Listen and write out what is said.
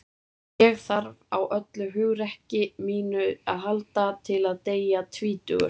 Ég þarf á öllu hugrekki mínu að halda til að deyja tvítugur.